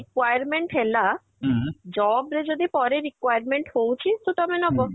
requirement ହେଲା job ରେ ଯଦି ପରେ requirement ହଉଛି so ତମେ ନବ